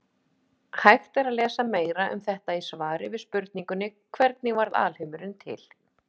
Hægt er að lesa meira um þetta í svari við spurningunni Hvernig varð alheimurinn til?